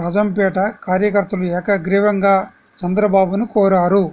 రాజంపేట కార్యకర్తలు ఏకగ్రీవంగా చంద్రబాబును కోరారు